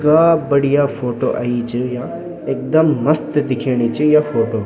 इथगा बढ़िया फोटो आयीं च या एकदम मस्त दिखेणी च या फोटो ।